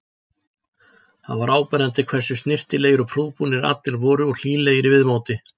Það var áberandi hversu snyrtilegir og prúðbúnir allir voru og hlýlegir í viðmóti.